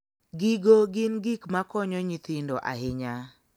Gigo gin gik makonyo nyithindo ahinya.